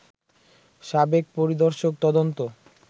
সাবেক পরিদর্শক তদন্ত